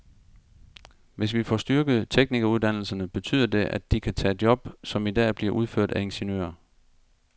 Hvis vi får styrket teknikeruddannelserne, betyder det, at de kan tage job, som i dag bliver udført af ingeniører.